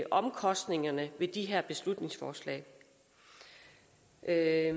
omkostningerne ved de her beslutningsforslag er